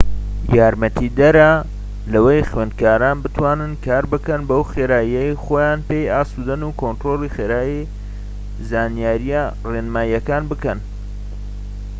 یارمەتیدەرە لەوەی خوێندکاران بتوانن کار بکەن بەو خێراییەی خۆیان پێی ئاسودەن و کۆنترۆلی خێرایی زانیاریە ڕێنماییەکان بکەن